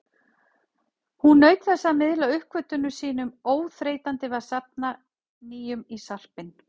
Hún naut þess að miðla uppgötvunum sínum, óþreytandi við að safna nýjum í sarpinn.